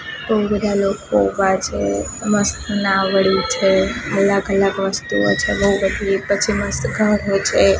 બો બધા લોકો ઉભા છે મસ્ત નાવડી છે અલગ અલગ વસ્તુઓ છે બો બધી પછી મસ્ત ઘરો છે.